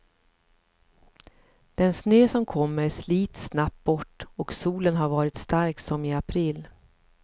Den snö som kommer slits snabbt bort och solen har varit stark som i april.